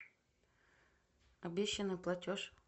обещанный платеж